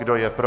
Kdo je pro?